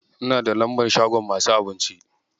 Ina da lambar shagon masu abinci.